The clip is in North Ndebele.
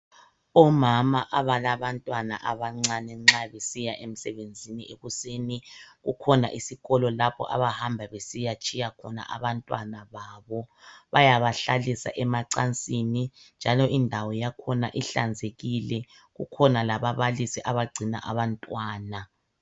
Omama abalabantwana abancane nxa besiya emsebenzini ekuseni kukhona isikolo lapho abahamba besiyatshiya khona abantwana babo ,bayaba hlalisa emacansini njalo indawo yabo yakhona ihlanzekile. Kukhona lababalisi abagcina abantwana.